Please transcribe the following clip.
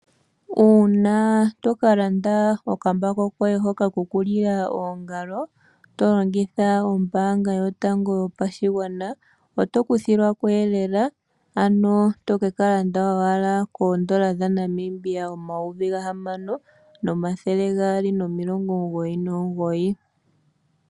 Uuna to kalanda okambako koye hoka kokulila oongalo to longitha ombanga yotango yopashigwana oto kuthilwako lela ano to kekalanda owala koondola dhaNamibia omayovi gahamano nomathele gaali nomilongo omugoyi nomugoyi.